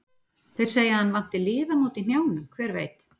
Þeir segja að hann vanti liðamót í hnjánum, hver veit?